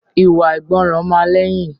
Ìwà àìgbọràn máa lẹ́yìn